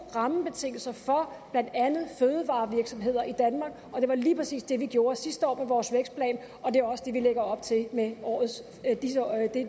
rammebetingelser for blandt andet fødevarevirksomheder i danmark og det var lige præcis det vi gjorde sidste år med vores vækstplan og det er også det vi lægger op til med